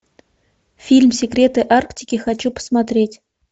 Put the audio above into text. фильм секреты арктики хочу посмотреть